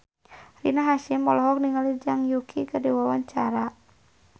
Rina Hasyim olohok ningali Zhang Yuqi keur diwawancara